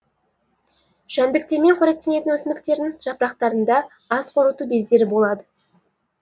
жәндіктермен қоректенетін өсімдіктердің жапырақтарында ас қорыту бездері болады